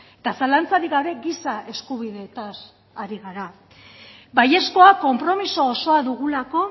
eta zalantzarik gabe giza eskubideetaz ari gara baiezkoa konpromiso osoa dugulako